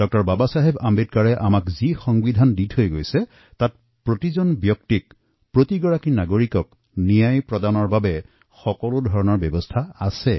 ড০ বাবা চাহেব আম্বেদকাৰে আমাক যি সংবিধান দি গল প্ৰত্যেক ব্যক্তিয়ে সুবিচাৰ পোৱাৰ অধিকাৰ তাত নিশ্চিত কৰা হৈছে